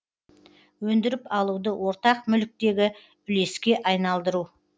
өндіріп алуды ортақ мүліктегі үлеске айналдыру